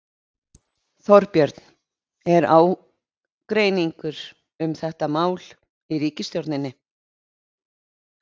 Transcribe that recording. Þorbjörn: Er ágreiningur um þetta mál í ríkisstjórninni?